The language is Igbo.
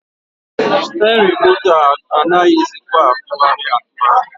Stirin moto a anaghịzịkwa atụgharị atụgharị.